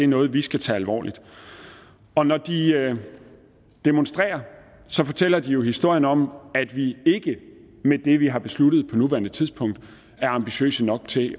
noget vi skal tage alvorligt og når de demonstrerer fortæller de jo historien om at vi ikke med det vi har besluttet på nuværende tidspunkt er ambitiøse nok til